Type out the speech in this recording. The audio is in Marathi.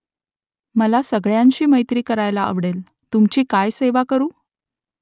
मला सगळ्यांशी मैत्री करायला आवडेल तुमची काय सेवा करू ?